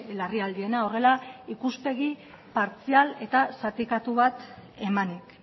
larrialdiena horrela ikuspegi partzial eta zatikatu bat emanik